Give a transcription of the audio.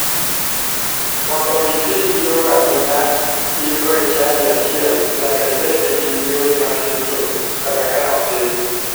Mondo iti gi jowadu ma ingo e chadi achiel, nyaka ibed gi yori mar yuto kata ka otin.